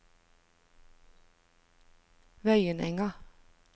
Vøyenenga